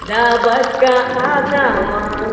да батька атаман